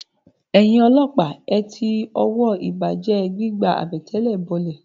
Ẹ̀yin ọlọ́pàá, ẹ ti ọwọ́ ìbàjẹ́ ẹ gbígba àbẹ̀tẹ̀lẹ̀ bọlẹ̀!